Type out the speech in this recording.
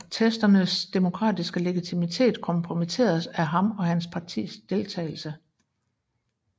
Protesternes demokratiske legitimitet kompromitteredes af ham og hans partis deltagelse